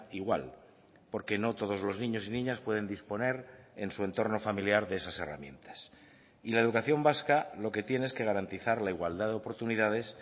igual porque no todos los niños y niñas pueden disponer en su entorno familiar de esas herramientas y la educación vasca lo que tiene es que garantizar la igualdad de oportunidades